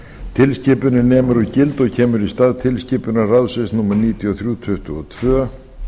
tilskipunin nemur úr gildi og kemur í stað tilskipunar ráðsins númer níutíu og þrjú tuttugu og tvö